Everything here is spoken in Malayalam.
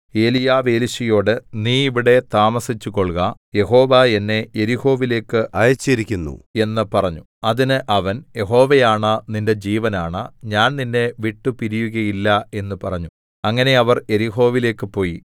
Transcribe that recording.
ഏലീയാവ് എലീശയോട് നീ ഇവിടെ താമസിച്ചുകൊൾക യഹോവ എന്നെ യെരിഹോവിലേക്ക് അയച്ചിരിക്കുന്നു എന്ന് പറഞ്ഞു അതിന് അവൻ യഹോവയാണ നിന്റെ ജീവനാണ ഞാൻ നിന്നെ വിട്ടുപിരിയുകയില്ല എന്ന് പറഞ്ഞു അങ്ങനെ അവർ യെരിഹോവിലേക്ക് പോയി